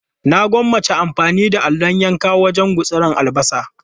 Na gwammaci amfani da allon yanka wajen gutsira albasa.